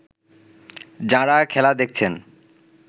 যাঁরা খেলা দেখছেন